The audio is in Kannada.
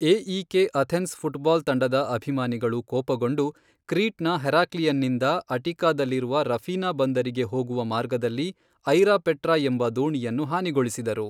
ಎಇಕೆ ಅಥೆನ್ಸ್ ಫುಟ್ಬಾಲ್ ತಂಡದ ಅಭಿಮಾನಿಗಳು ಕೋಪಗೊಂಡು ಕ್ರೀಟ್ನ ಹೆರಾಕ್ಲಿಯನ್ನಿಂದ ಅಟಿಕಾದಲ್ಲಿರುವ ರಫಿನಾ ಬಂದರಿಗೆ ಹೋಗುವ ಮಾರ್ಗದಲ್ಲಿ 'ಐರಾಪೆಟ್ರಾ' ಎಂಬ ದೋಣಿಯನ್ನು ಹಾನಿಗೊಳಿಸಿದರು.